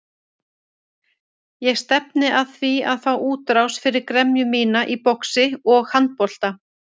Ég stefni að því að fá útrás fyrir gremju mína í boxi og handbolta.